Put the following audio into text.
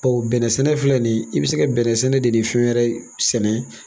bɛnnɛ sɛnɛ filɛ ni ye i bi se ka bɛnnɛ sɛnɛ de ni fɛn wɛrɛ sɛnɛ